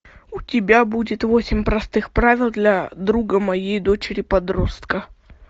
у тебя будет восемь простых правил для друга моей дочери подростка